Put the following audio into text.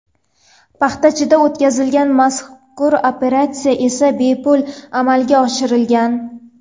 Paxtachida o‘tkazilgan mazkur operatsiya esa bepul amalga oshirilgan.